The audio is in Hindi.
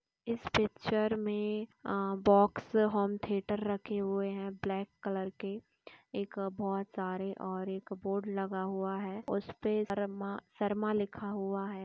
इस पिक्चर में आ बॉक्स होम थिएटर रखे हुए हैं ब्लैक कलर के । एक बहोत सारे और एक बोर्ड लगा हुआ है और उसपे शर्मा शर्मा लिखा हुआ है ।